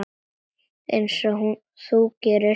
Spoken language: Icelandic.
Einsog þú gerir?